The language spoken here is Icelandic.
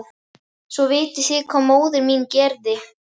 Svo vitið þið hvað móðir mín gerði?